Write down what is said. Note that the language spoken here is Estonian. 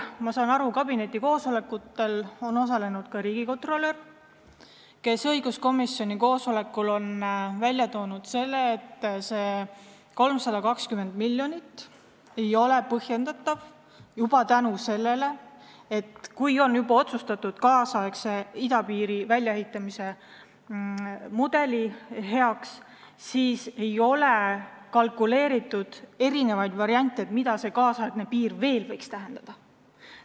Ma olen aru saanud, et kabineti koosolekutel on osalenud ka riigikontrolör, kes õiguskomisjoni koosolekul on välja toonud, et 320 miljonit ei ole põhjendatav seetõttu, et kui on otsustatud kaasaegse idapiiri väljaehitamise mudeli kasuks, siis ei ole kalkuleeritud erinevaid variante, mida see kaasaegne piir veel võiks tähendada.